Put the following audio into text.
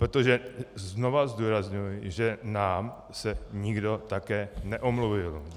Protože znovu zdůrazňuji, že nám se nikdo také neomluvil.